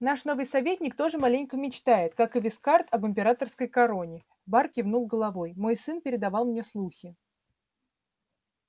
наш новый советник тоже маленько мечтает как и вискард об императорской короне бар кивнул головой мой сын передавал мне слухи